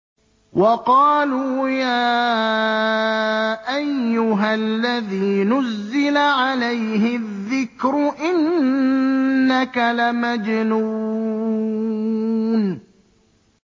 وَقَالُوا يَا أَيُّهَا الَّذِي نُزِّلَ عَلَيْهِ الذِّكْرُ إِنَّكَ لَمَجْنُونٌ